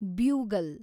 bugle